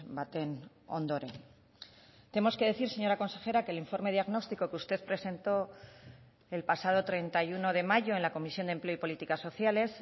baten ondoren tenemos que decir señora consejera que el informe diagnóstico que usted presentó el pasado treinta y uno de mayo en la comisión de empleo y políticas sociales